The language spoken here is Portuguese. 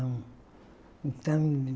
Então